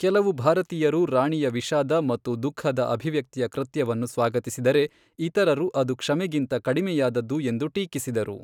ಕೆಲವು ಭಾರತೀಯರು ರಾಣಿಯ ವಿಷಾದ ಮತ್ತು ದುಃಖದ ಅಭಿವ್ಯಕ್ತಿಯ ಕೃತ್ಯವನ್ನು ಸ್ವಾಗತಿಸಿದರೆ, ಇತರರು ಅದು ಕ್ಷಮೆಗಿಂತ ಕಡಿಮೆಯಾದದ್ದು ಎಂದು ಟೀಕಿಸಿದರು.